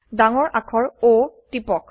ডাঙৰ আখৰ O টিপক